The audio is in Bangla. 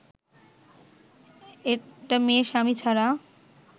একটা মেয়ে স্বামী ছাড়া